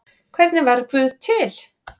Hvernig varð guð til?